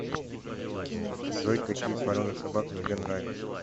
джой какие породы собак тебе нравятся